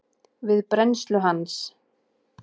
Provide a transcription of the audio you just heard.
við brennslu hans.